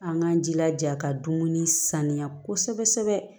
An k'an jilaja ka dumuni saniya kosɛbɛ kosɛbɛ